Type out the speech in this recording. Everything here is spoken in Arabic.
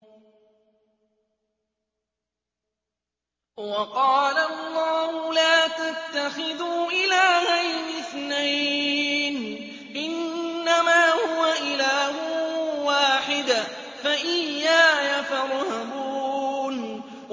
۞ وَقَالَ اللَّهُ لَا تَتَّخِذُوا إِلَٰهَيْنِ اثْنَيْنِ ۖ إِنَّمَا هُوَ إِلَٰهٌ وَاحِدٌ ۖ فَإِيَّايَ فَارْهَبُونِ